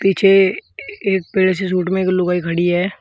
पीछे एक पीले से सूट में एक लुगाई खड़ी है।